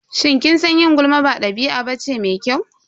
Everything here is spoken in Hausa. Shin kin san yin gulma ba ɗabi'a bace mai kyau?